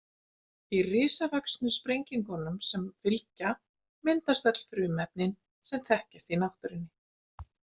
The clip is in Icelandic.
Í risavöxnu sprengingunum sem fylgja myndast öll frumefnin sem þekkjast í náttúrunni.